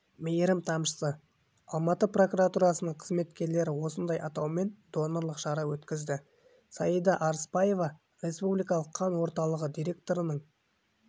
мейірім тамшысы алматы прокуратурасының қызметкерлері осындай атаумен донорлық шара өткізді саида арыспаева республикалық қан орталығы директорының